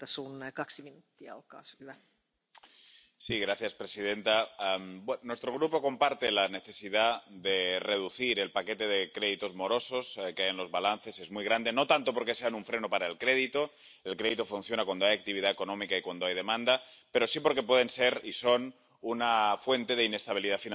Señora presidenta, nuestro Grupo comparte la necesidad de reducir el paquete de créditos morosos que hay en los balances —es muy grande—, no tanto porque sean un freno para el crédito ―el crédito funciona cuando hay actividad económica y cuando hay demanda―, sino porque pueden ser y son una fuente de inestabilidad financiera importante.